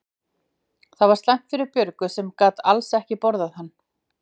Það var slæmt fyrir Björgu sem gat alls ekki borðað hann.